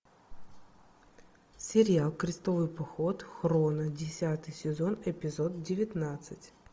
сериал крестовый поход хроно десятый сезон эпизод девятнадцать